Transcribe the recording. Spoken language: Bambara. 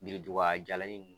Biriduga jalanin nunnu